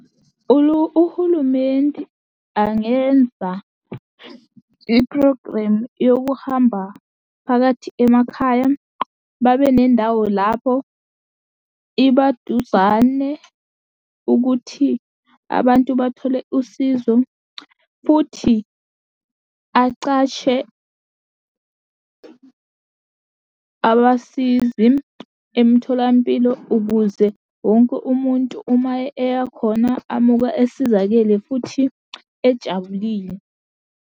Uhulumenti angenza iphrogremu yokuhamba phakathi emakhaya. Babe nendawo lapho iba duzane ukuthi abantu bathole usizo futhi aqashe abasizi emtholampilo ukuze wonke umuntu uma eya khona amuka esizakele, futhi ejabulile.